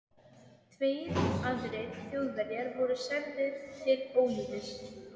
Tveir aðrir Þjóðverjar voru særðir til ólífis.